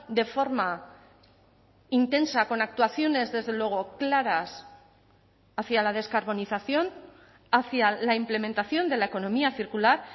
de forma intensa con actuaciones desde luego claras hacia la descarbonización hacia la implementación de la economía circular